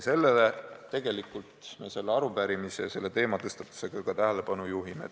Sellele me oma arupärimise ja teematõstatusega ka tähelepanu juhime.